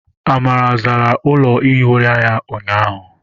Amara zara ụlọ ihi ụra ya ụnyaahụ.